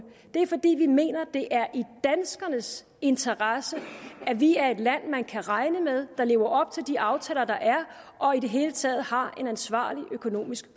det er fordi vi mener at det er i danskernes interesse at vi er et land man kan regne med og som lever op til de aftaler der er og i det hele taget har en ansvarlig økonomisk